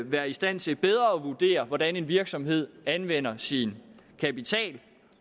være i stand til bedre at vurdere hvordan en virksomhed anvender sin kapital